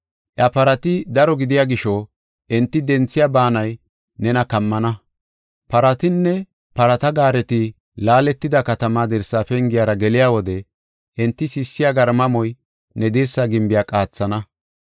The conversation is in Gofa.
Iya parati daro gidiya gisho, enti denthiya baanay nena kammana. Paratinne parata gaareti laaletida katamaa dirsa pengiyara geliya wode enti sissiya garmamoy ne dirsa gimbiya qaathana.